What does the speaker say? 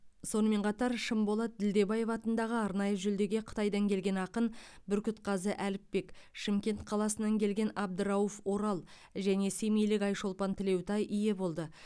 сонымен қатар шынболат ділдебаев атындағы арнайы жүлдеге қытайдан келген ақын бүркітқазы әліпбек шымкент қаласынан келген абдырауф орал және семейлік айшолпан тілеутай ие болды